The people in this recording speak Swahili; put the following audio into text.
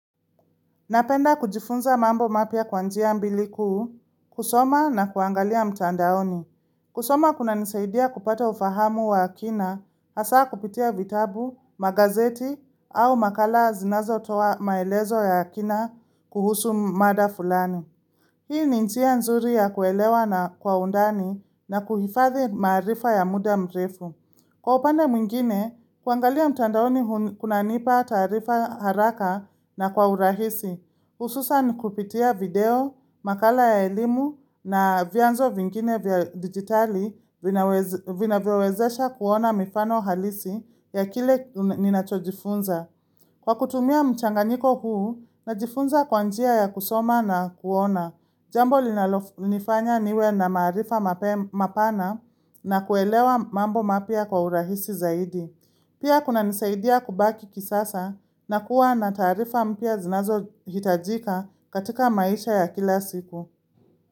Napenda kujifunza mambo mapya kwa njia mbili kuu, kusoma na kuangalia mtandaoni. Kusoma kunanisaidia kupata ufahamu wa hakina, hasaa kupitia vitabu, magazeti au makala zinazotoa maelezo ya hakina kuhusu mada fulani. Hii ni njia nzuri ya kuelewa na kwa undani na kuhifadhi maarifa ya muda mrefu. Kwa upande mwingine, kuangalia mtandaoni kunanipa taarifa haraka na kwa urahisi. Hususan kupitia video, makala ya elimu na vyanzo vingine vya digitali vinaweza vinavyowezesha kuona mifano halisi ya kile ninachojifunza. Kwa kutumia mchanganiko huu, najifunza kwa njia ya kusoma na kuona. Jambo linalonifanya niwe na marifa mapana na kuelewa mambo mapya kwa urahisi zaidi. Pia kunanisaidia kubaki kisasa na kuwa na taarifa mpya zinazohitajika katika maisha ya kila siku.